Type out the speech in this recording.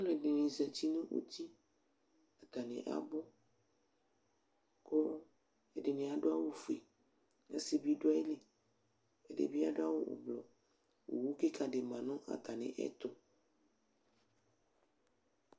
Alʋɛdɩnɩ zati nʋ uti Atanɩ abʋ kʋ ɛdɩnɩ adʋ awʋfue, asɩ bɩ dʋ ayili, ɛdɩ bɩ adʋ awʋ ʋblʋ Owu kɩka dɩ ma nʋ atamɩɛtʋ